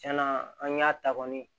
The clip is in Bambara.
Tiɲɛna an y'a ta kɔni